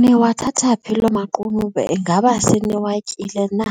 Niwathatha phi lo maqunube? Ingaba seniwatyile na?